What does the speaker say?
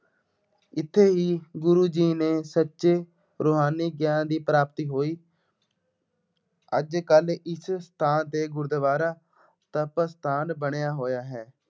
ਇੱਥੇ ਹੀ ਗੁਰੂ ਜੀ ਨੇ ਸੱਚੇ ਰੂਹਾਨੀ ਗਿਆਨ ਦੀ ਪ੍ਰਾਪਤੀ ਹੋਈ। ਅੱਜ ਕੱਲ੍ਹ ਇਸ ਥਾਂ ਤੇ ਗੁਰੂਦੁਆਰਾ ਤਪ ਅਸਥਾਨ ਬਣਿਆ ਹੋਇਆ ਹੈ।